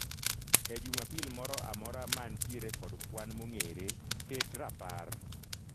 E Jumapil moro amora mantiere kod kwan mong'ere, ket rapar